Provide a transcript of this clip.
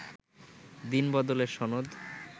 দিনবদলের সনদ